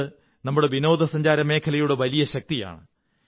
ഇതു നമ്മുടെ വിനോദസഞ്ചാരമേഖലയുടെ വലിയ ശക്തിയാണ്